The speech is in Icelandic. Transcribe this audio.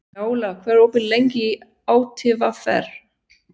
Njála, hvað er opið lengi í ÁTVR?